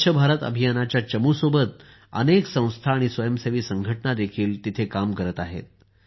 स्वच्छ भारत अभियानाच्या चमूसोबत अनेक संस्था आणि स्वयंसेवी संघटनाही तिथे काम करत आहेत